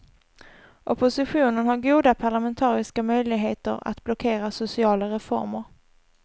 Oppositionen har goda parlamentariska möjligheter att blockera sociala reformer.